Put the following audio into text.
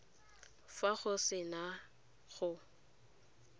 fa go se na go